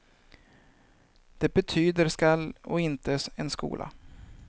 Det betyder skall och inte en skola.